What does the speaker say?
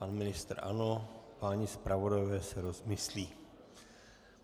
Pan ministr ano, páni zpravodajové se rozmyslí.